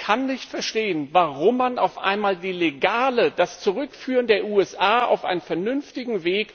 Ich kann nicht verstehen, warum man auf einmal das Legale, das Zurückführen der USA auf einen vernünftigen Weg,